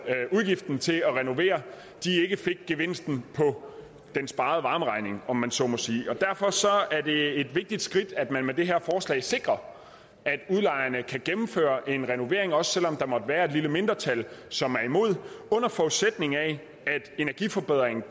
udgiften til at renovere ikke fik gevinsten på den sparede varmeregning om man så må sige og derfor er det et vigtigt skridt at man med det her forslag sikrer at udlejerne kan gennemføre en renovering også selv om der måtte være et lille mindretal som er imod under forudsætning af at energiforbedringen